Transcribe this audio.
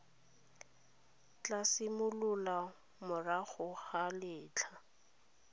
tla simolola morago ga letlha